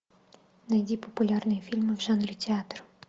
найди популярные фильмы в жанре театр